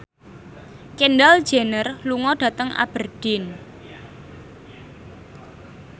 Kendall Jenner lunga dhateng Aberdeen